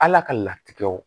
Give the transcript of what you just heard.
Ala ka latigɛw